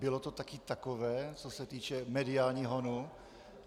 Bylo to taky takové, co se týče mediálního honu?